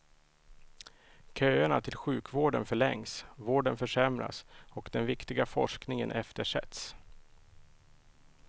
Köerna till sjukvården förlängs, vården försämras och den viktiga forskningen eftersätts.